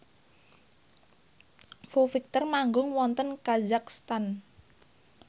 Foo Fighter manggung wonten kazakhstan